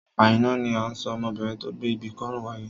Àìná ni à ń sọ ọmọbinrin tó gbé ibi kọ́rùn wáyé.